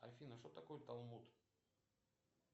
афина что такое талмуд